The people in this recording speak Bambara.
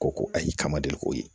Ko ko ayi kama de k'o ye